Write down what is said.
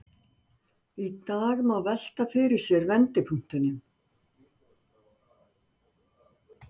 Í dag má velta fyrir sér vendipunktinum.